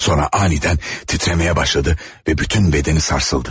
Sonra anidən titrəməyə başladı və bütün bədəni sarsıldı.